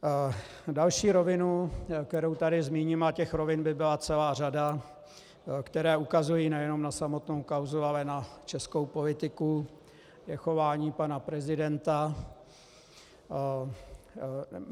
Další rovinu, kterou tady zmíním - a těch rovin by byla celá řada, které ukazují nejen na samotnou kauzu, ale na českou politiku - je chování pana prezidenta.